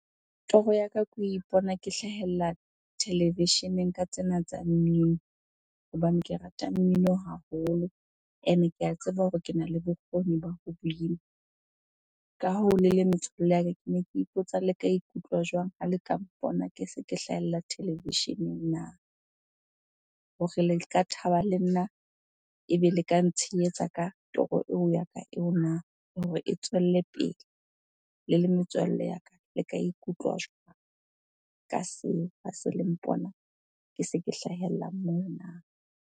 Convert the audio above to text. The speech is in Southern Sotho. Toro ya ka, ke ho ipona ke hlahella televisheneng ka tsena tsa mmino hobane ke rata mmino haholo ene ke a tseba hore kena le bokgoni ba ho bina. Ka hoo le le metswalle ya ka, kene ke ipotsa le ka ikutlwa jwang ha le ka mpona ke se ke hlahella televisheneng na? Hore le ka thaba le nna ebe le ka ntsheyetsa ka toro eo ya ka eo na hore e tswelle pele? Le le metswalle ya ka, le ka ikutlwa jwang ka seo ha se le mpona ke se ke hlahella moo na?